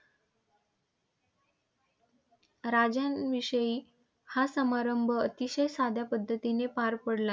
राजांविषयी हा समारंभ अतिशय साध्या पद्धतीने पार पडला.